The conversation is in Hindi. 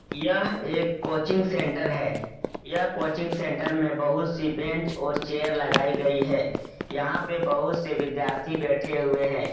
यह एक कोचिंग सेंटर है यह कोचिंग सेंटर में बहुत सी बेंच और चेयर लगाई गई है यहां पे बहुत से विद्यार्थी बैठे हुए है।